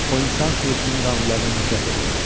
O insan sürüsünün qanunlarına nifrət eləyirdi.